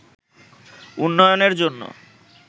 উন্নয়নের জন্য